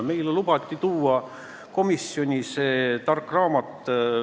Meile lubati tark raamat komisjoni tuua.